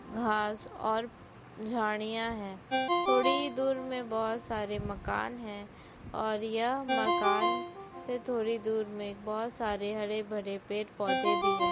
घास और झाड़िया है। थोड़ी ही दूर मै बहुत सारे मकान है और यह मकान से थोड़ी दूर में बहुत सारे हरे भरे पेड़-पौधे भी है।